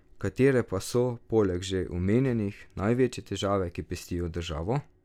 Katere pa so, poleg že omenjenih, največje težave, ki pestijo državo?